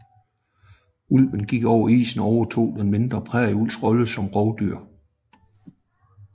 Ulvene gik over isen og overtog den mindre prærieulvs rolle som rovdyr